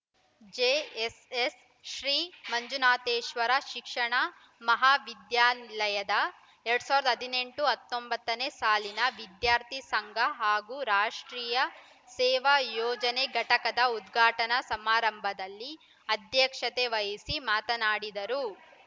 JSS Shri Manjunatheshwara ಶಿಕ್ಷಣ ಮಹಾವಿದ್ಯಾಲಯದ ಎರಡ್ ಸಾವಿರದ ಹದಿನೆಂಟು ಹತ್ತೊಂಬತ್ತ ನೇ ಸಾಲಿನ ವಿದ್ಯಾರ್ಥಿ ಸಂಘ ಹಾಗೂ ರಾಷ್ಟ್ರೀಯ ಸೇವಾ ಯೋಜನೆ ಘಟಕದ ಉದ್ಘಾಟನಾ ಸಮಾರಂಭದಲ್ಲಿ ಅಧ್ಯಕ್ಷತೆ ವಹಿಸಿ ಮಾತನಾಡಿದರು